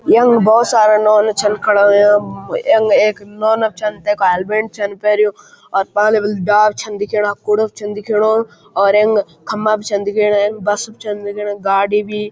यंग बहौत सारा नौना छन खड़ा हुयां यंग एक नौना छन तैक हेलमेट छन पैर्युं और पाले वल डाल छन दिखेणा कूड़ा छन दिखेणु और यंग खम्बा भी छन दिखेणा यख बस भी छन दिखेणा गाडी भी।